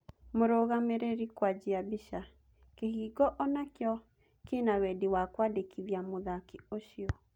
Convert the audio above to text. (Mũrũgamĩrĩri) Kũajia mbica, Gate onayo ĩna-wendi wa kũandĩkithia mũthaki ũcio.